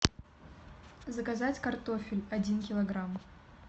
заказать картофель один килограмм